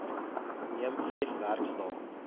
neem vyf werksdae